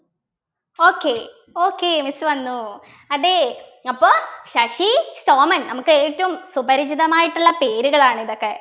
okay okay miss വന്നു അതെ അപ്പോ ശശി സോമൻ നമുക്ക് ഏറ്റവും സുപരിചിതമായിട്ടുള്ള പേരുകളാണ് ഇതൊക്കെ